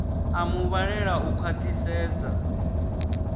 a mu vhalele u khwaṱhisedza